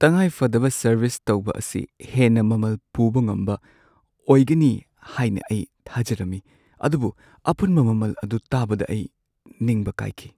ꯇꯉꯥꯏꯐꯗꯕ ꯁꯔꯚꯤꯁ ꯇꯧꯕ ꯑꯁꯤ ꯍꯦꯟꯅ ꯃꯃꯜ ꯄꯨꯕ ꯉꯝꯕ ꯑꯣꯏꯒꯅꯤ ꯍꯥꯏꯅ ꯑꯩ ꯊꯥꯖꯔꯝꯃꯤ, ꯑꯗꯨꯕꯨ ꯑꯄꯨꯟꯕ ꯃꯃꯜ ꯑꯗꯨ ꯇꯥꯕꯗ ꯑꯩ ꯅꯤꯡꯕ ꯀꯥꯢꯈꯤ꯫